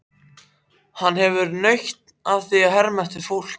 Hann hefur líka nautn af að herma eftir fólki.